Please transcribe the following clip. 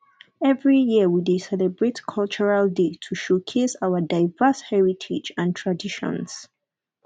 every year we dey celebrate cultural day to showcase our diverse heritage and traditions